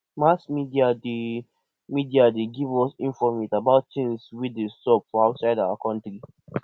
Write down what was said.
mass media dey media dey give us informate about things wey dey sup for outside our country